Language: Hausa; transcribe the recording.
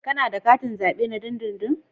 Kana da katin zabe na dindindin?